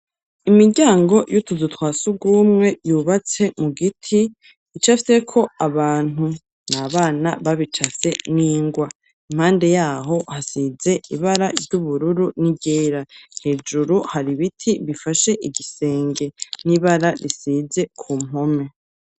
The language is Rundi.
Imiryango y'utuzu twa sugumwe yubatse mu giti icafye ko abantu, n'abana babicase n'ingwa impande yaho hasize ibara ryubururu n'iryera hejuru hari biti bifashe igisenge n'ibara risize ku mpome.